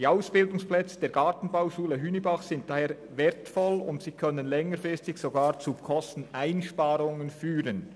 Die Ausbildungsplätze der Gartenbauschule Hünibach sind deshalb wertvoll, und sie können längerfristig sogar zu Kosteneinsparungen führen.